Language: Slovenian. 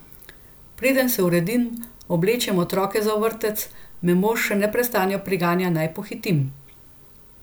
Preden se uredim, oblečem otroka za vrtec, me mož že nestrpno priganja, naj pohitim.